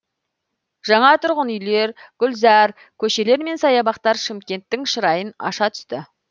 жаңа тұрғын үйлер гүлзар көшелер мен саябақтар шымкенттің шырайын аша түсті